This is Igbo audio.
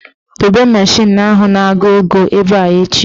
Dobe mashin ahụ na-agụ ego ebe a echi"!.